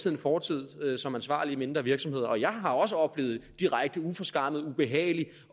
en fortid som ansvarlige i mindre virksomheder og jeg har også oplevet direkte uforskammet ubehagelig